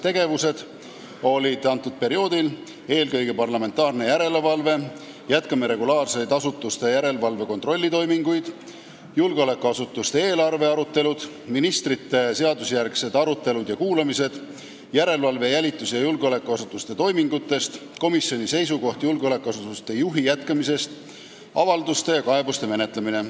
Sellel perioodil olid põhilised tegevused järgmised: parlamentaarne järelevalve, regulaarsed asutuste järelevalve- ja kontrollitoimingud, julgeolekuasutuste eelarvete arutelud, seadusjärgsed arutelud ministritega ja kuulamised, järelevalve jälitus- ja julgeolekuasutuste toimingute üle, komisjoni seisukoha andmine julgeolekuasutuse juhi jätkamise kohta, avalduste ja kaebuste menetlemine.